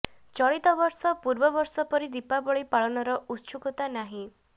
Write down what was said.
ଚଳିତ ବର୍ଷ ପୂର୍ବ ବର୍ଷ ପରି ଦୀପାବଳି ପାଳନର ଉତ୍ସୁକତା ନାହିଁ